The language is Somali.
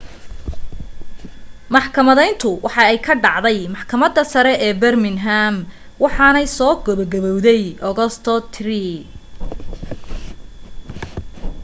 maxkamadayntu waxay ka dhacday maxkamadda sare ee birmingham waxaanay soo gebo gabawday agoosto 3